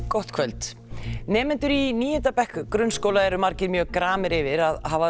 gott kvöld nemendur í níunda bekk grunnskóla eru margir mjög gramir yfir að hafa